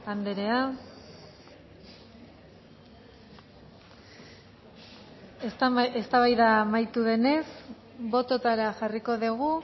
andrea eztabaida amaitu denez bototara jarriko dugu